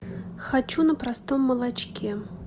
хочу на простом молочке